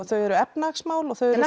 þau eru efnahagsmál og þau eru